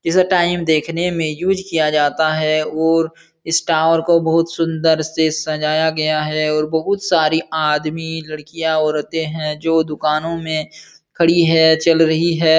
इसे टाइम देखने में यूज़ किया जाता है ओर इस टावर को बहोत सुंदर से सजाया गया है और बहोत सारी आदमी लड़कियाँ औरते हैं जो दुकानों में खड़ी है चल रही है।